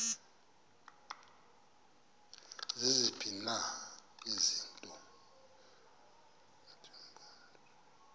ziziphi na izinto